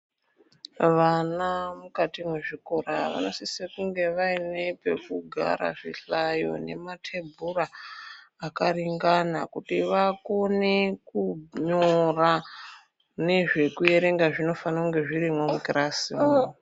Vana mukati mwezvikora vanosise kunge vaine pekugara zvihlayo nematebhura zvakaringana kuti vakone kunyora nezvekuerenga zvinofanire kunge zvirimwo mukirasimwo.